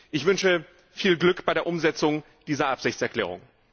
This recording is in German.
Ich wünsche viel Glück bei der Umsetzung dieser Absichtserklärung.